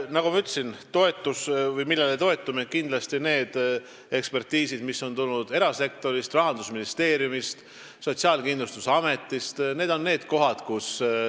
Nagu ma ütlesin, me toetume kindlasti nendele ekspertiisidele, mis on tulnud erasektorist, Rahandusministeeriumist, Sotsiaalkindlustusametist ning Maksu- ja Tolliametist.